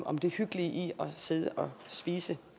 om det hyggelige i at sidde og spise